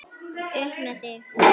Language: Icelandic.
Upp með þig!